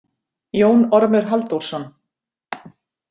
Jón Ormur Halldórsson.